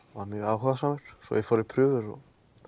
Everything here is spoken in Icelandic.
var mjög áhugasamur svo ég fór í prufur og